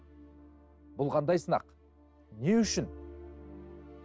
бұл қандай сынақ не үшін